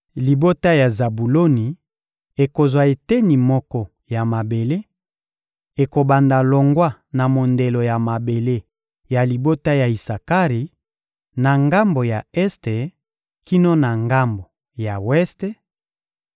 Libota ya Zabuloni ekozwa eteni moko ya mabele: ekobanda longwa na mondelo ya mabele ya libota ya Isakari, na ngambo ya este kino na ngambo ya weste;